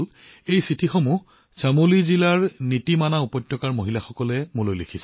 বন্ধুসকল এই চিঠিখন মোলৈ লিখিছে চামোলী জিলাৰ নীতিমনা উপত্যকাৰ মহিলাসকলে